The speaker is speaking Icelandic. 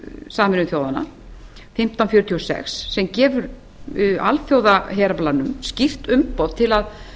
sameinuðu þjóðanna fimmtán hundruð fjörutíu og sex sem gefur alþjóðaheraflanum skýrt umboð til að